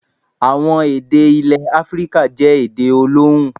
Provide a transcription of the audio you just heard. Àwọn èdè ilẹ̀ Áfíríkà jẹ́ èdè olóhùn.